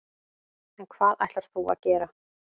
En hvað ætlar þú að gera?